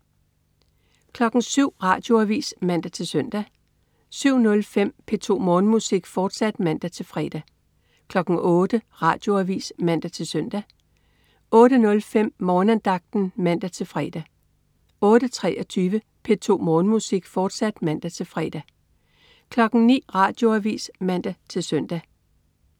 07.00 Radioavis (man-søn) 07.05 P2 Morgenmusik, fortsat (man-fre) 08.00 Radioavis (man-søn) 08.05 Morgenandagten (man-fre) 08.23 P2 Morgenmusik, fortsat (man-fre) 09.00 Radioavis (man-søn)